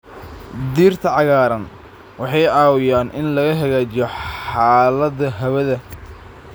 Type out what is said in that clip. Dhirta cagaaran waxay caawiyaan in la hagaajiyo xaaladda hawada.